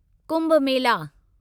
Kumbh Mela